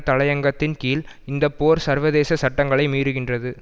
தலையங்கத்தின் கீழ் இந்த போர் சர்வதேச சட்டங்களை மீறுகின்றது